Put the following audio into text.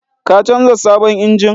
Ka canza sabon injin?